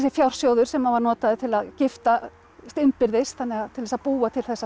fjársjóður sem var notaður til að giftast innbyrðis til að búa til þessa